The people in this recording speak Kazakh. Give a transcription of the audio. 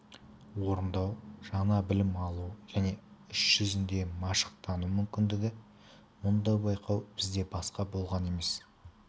орындау жаңа білім алу және іс жүзінде машықтану мүмкіндігі мұндай байқау бізде басқа болған емес